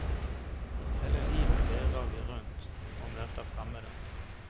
Hele livet virrer vi rundt og møter fremmede.